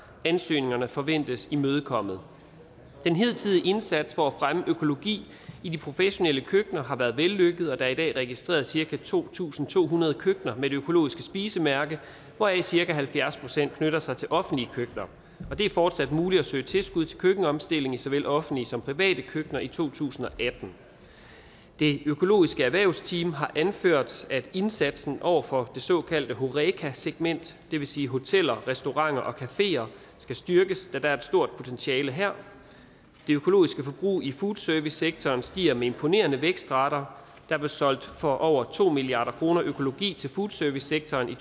ansøgningerne forventes imødekommet den hidtidige indsats for at fremme økologi i de professionelle køkkener har været vellykket og der er i dag registreret cirka to tusind to hundrede køkkener med det økologiske spisemærke hvoraf cirka halvfjerds procent knytter sig til offentlige køkkener og det er fortsat muligt at søge tilskud til køkkenomstilling i såvel offentlige som private køkkener i to tusind og atten det økologiske erhvervsteam har anført at indsatsen over for det såkaldte horeca segment det vil sige hoteller restauranter og cafeer skal styrkes da der er et stort potentiale her det økologiske forbrug i foodservicesektoren stiger med imponerende vækstrater der blev solgt for over to milliard kroner økologi til foodservicesektoren i